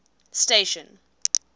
station